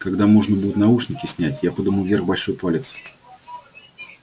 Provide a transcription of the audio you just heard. когда можно будет наушники снять я подниму вверх большой палец